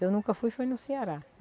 Eu nunca fui, fui no Ceará.